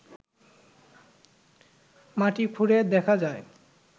মাটি খুঁড়ে দেখা যায়